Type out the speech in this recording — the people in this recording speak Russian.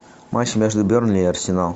матч между бернли и арсенал